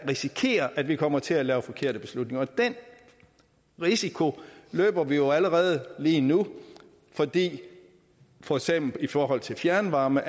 risikerer at vi kommer til at lave forkerte beslutninger den risiko løber vi jo allerede lige nu fordi vi for eksempel i forhold til fjernvarme